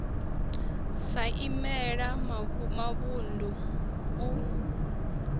sa i imela mavunḓu u